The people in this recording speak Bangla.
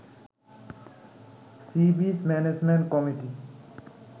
sea beach management committee